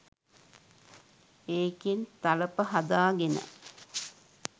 ඒකෙන් තලප හදාගෙන